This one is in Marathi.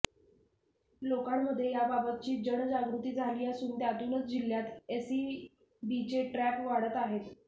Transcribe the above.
लोकांमध्ये याबाबतची जन जागृती झाली असून त्यातूनच जिल्ह्यात एसीबीचे ट्रॅप वाढत आहेत